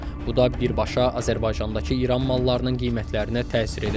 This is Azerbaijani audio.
Bu da birbaşa Azərbaycandakı İran mallarının qiymətlərinə təsir edəcək.